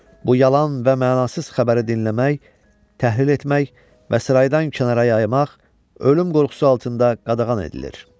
Bu yalan və mənasız xəbəri dinləmək, təhlil etmək və saraydan kənara yaymaq ölüm qorxusu altında qadağan edilir.